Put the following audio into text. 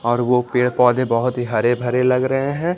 और वो पेड़-पौधे बहुत ही हरे-भरे लग रहे हैं।